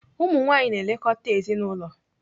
Ụmụnwaanyị na-elekọta ezinaụlọ.